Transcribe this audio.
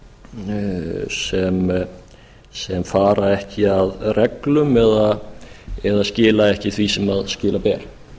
sé ekki jafnmargir sem fara ekki að reglum eða skila ekki því sem skila ber